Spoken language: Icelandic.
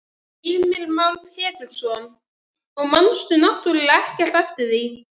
Heimir Már Pétursson: Og manst náttúrulega ekkert eftir því?